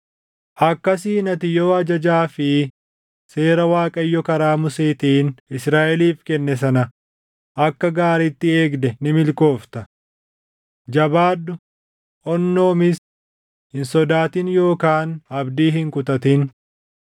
Akkasiin ati yoo ajajaa fi seera Waaqayyo karaa Museetiin Israaʼeliif kenne sana akka gaariitti eegde ni milkoofta. Jabaadhu; onnoomis. Hin sodaatin yookaan abdii hin kutatin.